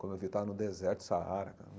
Como eu vi, estava no deserto, Saara cara.